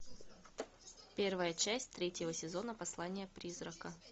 первая часть третьего сезона послание призрака